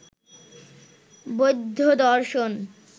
বৌদ্ধ দর্শন